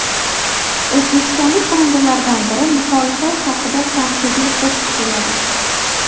O‘zbekistonlik xonandalardan biri muxolifat haqida tanqidiy qo‘shiq kuyladi.